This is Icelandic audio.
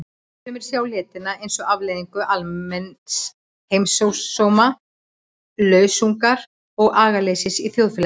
Sumir sjá letina sem afleiðingu almenns heimsósóma, lausungar og agaleysis í þjóðfélaginu.